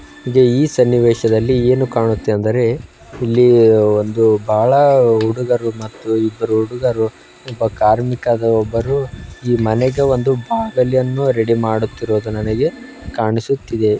ಈ ಸನ್ನಿವೇಶದಲ್ಲಿ ಏನು ಕಾಣುತ್ತೆ ಅಂದರೆ ಇಲ್ಲಿ ಒಂದು ಬಾಳ ಹುಡುಗಳು ಒಂದು ಹುಡುಗರು ಒಬ್ಬರು ಕಾರ್ಮಿಕರು ಈ ಮನೆಗೆ ಬಾಗಿಲನ್ನು ರೆಡಿ ಮಾಡುತ್ತಿರುವ ನನಗೆ ಕಾಣಿಸುತ್ತಿದೆ.